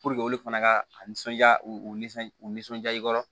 olu fana ka a nisɔndiya u nisɔn u nisɔndiya i kɔrɔ